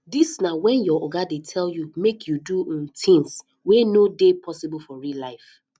dis na when your oga dey tell you make you do um things wey no dey possible for real life